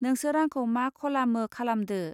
नोंसोर आंखौ मा खलामो खालामदो